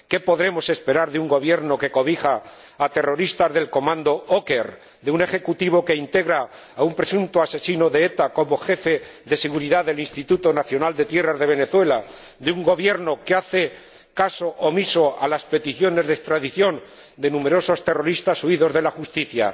¿Qué podemos esperar de un gobierno que cobija a terroristas del comando Oker, de un ejecutivo que integra a un presunto asesino de ETA como jefe de seguridad del Instituto Nacional de Tierras de Venezuela, de un gobierno que hace caso omiso a las peticiones de extradición de numerosos terroristas huidos de la justicia?